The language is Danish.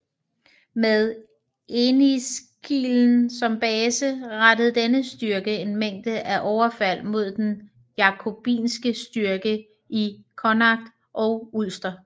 Med Enniskillen som base rettede denne styrke en mængde af overfald mod den jakobinske styrke i Connacht og Ulster